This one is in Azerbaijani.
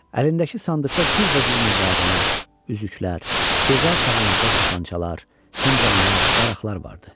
Əlindəki sandıqda cürbəcür müvarilər, üzüklər, gözəl sağanaqlı tapançalar, fincanlar, daraqlar vardı.